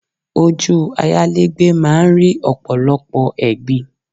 Ojú ayálégbé máa ń rí ọ̀pọ̀lọpọ̀ ẹ̀gbin